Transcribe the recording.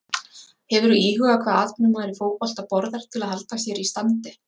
Hefurðu íhugað hvað atvinnumaður í fótbolta borðar til að halda sér í standi?